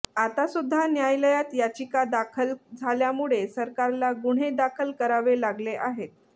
आतासुध्दा न्यायालयात याचिका दाखल झाल्यामुळे सरकारला गुन्हे दाखल करावेलागले आहेत